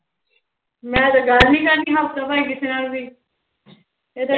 ਮੈਂ ਤਾਂ ਗੱਲ ਨੀ ਕਰਦੀ ਹਫ਼ਤਾ ਭਰ ਕਿਸੇ ਨਾਲ ਵੀ